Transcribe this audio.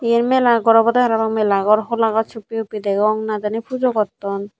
iyan mela ghor obode parapang mela ghor hola gaj huppi huppi degong na jani pujo gotton.